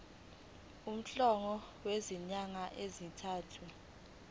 umholo wezinyanga ezintathu